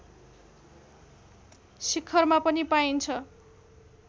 शिखरमा पनि पाइन्छ